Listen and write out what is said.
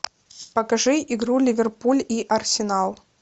покажи игру ливерпуль и арсенал